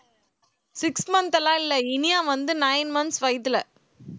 six month லாம் இல்ல இனியா வந்து nine months வயித்துல